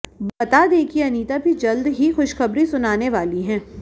बता दें कि अनिता भी जल्द ही खुशखबरी सुनाने वाली हैं